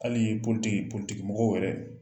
Hali yɛrɛ